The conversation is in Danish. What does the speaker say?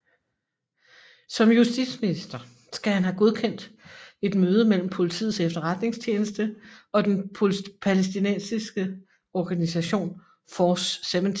Som justitsminister skal han have godkendt et møde mellem Politiets Efterretningstjeneste og den palæstinensiske organisation Force 17